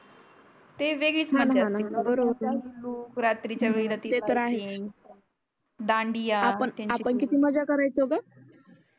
ते वेगळीच मजा असते हो णा बर होता न रात्रीच्या वेळेस ते तर आहे दांडिया त्याची आपण किती मजा कारयचो ग